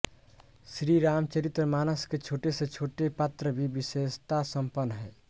श्री रामचरित मानस के छोटेसेछोटे पात्र भी विशेषता संपन्न है